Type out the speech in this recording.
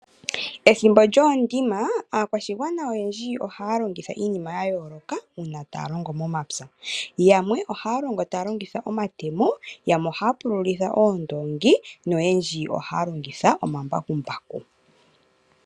Ethimbo lyoondima aakwashigwana oyendji ohaa longitha iinima ya yooloka uuna taa longo momapya. Yamwe ohaa longo taa longitha omatemo, yamwe ohaa pululitha oondoongi noyendji ohaa longitha omambakumbaku.